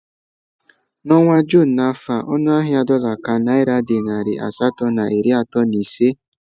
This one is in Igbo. N'ọnwa Jụn n'afọ a ọnụ ahịa dola ka naira dị narị asatọ na iri atọ na ise